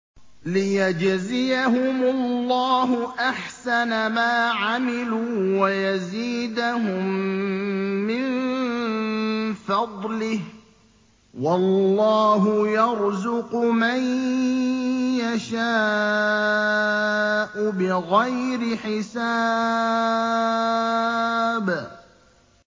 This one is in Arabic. لِيَجْزِيَهُمُ اللَّهُ أَحْسَنَ مَا عَمِلُوا وَيَزِيدَهُم مِّن فَضْلِهِ ۗ وَاللَّهُ يَرْزُقُ مَن يَشَاءُ بِغَيْرِ حِسَابٍ